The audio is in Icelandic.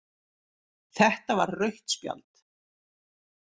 Þetta var rautt spjald